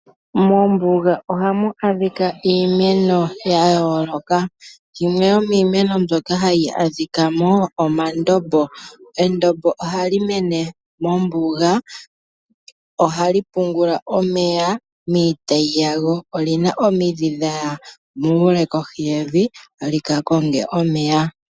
Moombuga ohamu adhika iimeno yayooloka. Yimwe yomimeno mbyoka hayi adhikwamo oyo endombo, ohali mene mombuga ohali pungula omeya miitayi yalo. Olina omidhi dhaya muule opo dhika konge omeya.